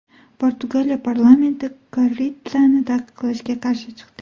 Portugaliya parlamenti korridani taqiqlashga qarshi chiqdi.